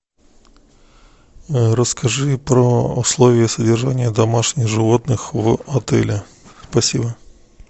расскажи про условия содержания домашних животных в отеле спасибо